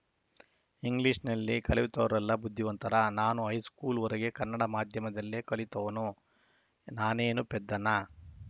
ಇಂಗ್ಲಿಷ್‌ನಲ್ಲಿ ಕಲಿತವರೆಲ್ಲ ಬುದ್ಧಿವಂತರಾ ನಾನು ಹೈಸ್ಕೂಲ್‌ವರೆಗೆ ಕನ್ನಡ ಮಾಧ್ಯಮದಲ್ಲೇ ಕಲಿತವನು ನಾನೇನು ಪೆದ್ದನಾ